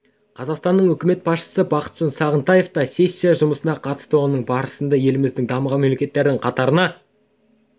қазақстанның үкімет басшысы бақытжан сағынтаев та сессия жұмысына қатысты оның барысында еліміздің дамыған мемлекеттің қатарына